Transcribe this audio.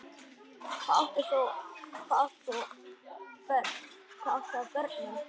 Hvað átt þú af börnum?